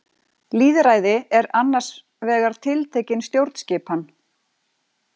Lýðræði er annars vegar tiltekin stjórnskipan.